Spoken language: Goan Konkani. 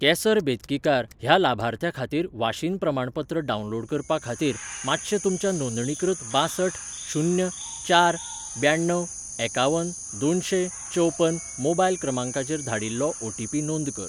केसर बेतकीकार ह्या लाभार्थ्या खातीर वाशीन प्रमाणपत्र डावनलोड करपा खातीर, मातशें तुमच्या नोंदणीकृत बांसठ शून्य चार ब्याण्णव एकावन दोनशें चवपन मोबायल क्रमांकाचेर धाडिल्लो ओटीपी नोंद कर.